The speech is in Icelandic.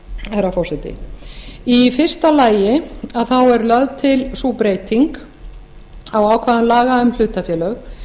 herra forseti í fyrsta lagi er lögð til sú breyting á ákvæðum laga um hlutafélög